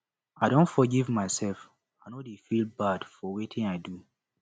i don forgive mysef i no dey feel bad for wetin i do